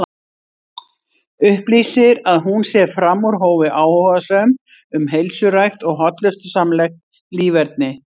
Upplýsir að hún sé fram úr hófi áhugasöm um heilsurækt og hollustusamlegt líferni.